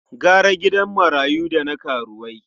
Gara gidan marayu da na karuwai.